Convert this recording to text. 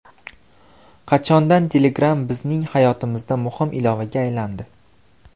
Qachondan Telegram bizning hayotimizda muhim ilovaga aylandi?